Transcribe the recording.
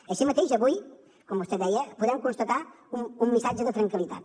així mateix avui com vostè deia podem constatar un missatge de tranquil·litat